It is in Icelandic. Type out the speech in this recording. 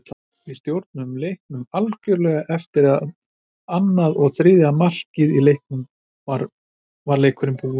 Við stjórnuðum leiknum algjörlega og eftir annað og þriðja markið var leikurinn búinn,